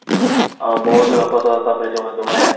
ଅ ବହୁତ ଲୋକ ତ ତାପରେ ଯୋଉ ମାନେ ଯୋଉ ମାନେ